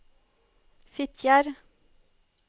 Fitjar